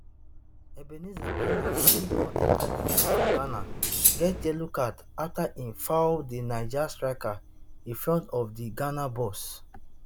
ebenezer annan wey don enta di game for ghana get yellow card afta im foul di niger striker in front of di ghana box